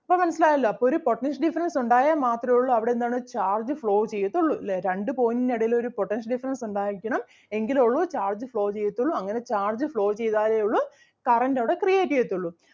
ഇപ്പം മനസ്സിലായല്ലോ അപ്പൊ ഒരു potential difference ഒണ്ടായാൽ മാത്രേ ഒള്ളു അവിടെ എന്താണ് charge flow ചെയ്യത്തൊള്ളു ല്ലേ രണ്ട് point ൻ്റെ ഇടേല് ഒരു potential difference ഒണ്ടായിരിക്കണം എങ്കിലേ ഒള്ളു charge flow ചെയ്യത്തൊള്ളൂ അങ്ങനെ charge flow ചെയ്താലേ ഒള്ളു current അവിടെ create ചെയ്യത്തൊള്ളൂ.